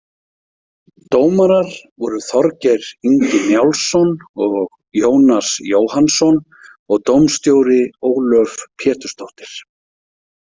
Dómarar voru Þorgeir Ingi Njálsson og Jónas Jóhannsson og dómstjóri Ólöf Pétursdóttir.